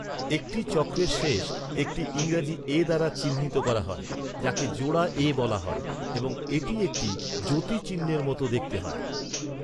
একটি চক্রের শেষ একটি ইংরেজি এ দ্বারা চিহ্নিত করা হয়, যাকে জোড়া এ বলা হয় এবং এটি একটি যতিচিহ্নের মতো দেখতে হয়।